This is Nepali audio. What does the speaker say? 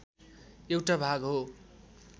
एउटा भाग हो